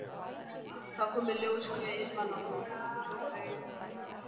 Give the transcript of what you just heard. Þá kom í ljós hve einmana hún raunar var.